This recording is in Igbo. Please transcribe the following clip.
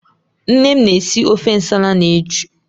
Nne m na-esi ofe nsala na ejụụ.